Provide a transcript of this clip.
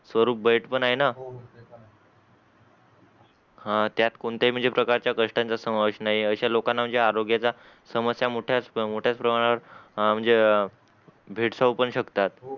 स्वरूप बैठं पण आहे ना हां त्यात कोणत्याही म्हंजे प्रकारचा कष्टाचा समावेश नाहीए आशा लोकांना म्हणजे आरोग्याचा समस्या मोठ्याच मोठ्याच प्रमाणात आं म्हणजे भेडसावू पण शकतात